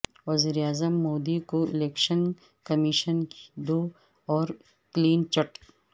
وزیراعظم مودی کو election commission کی دو اور کلین چٹ